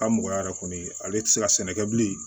Ka mɔgɔya yɛrɛ kɔni ale tɛ se ka sɛnɛ kɛ bilen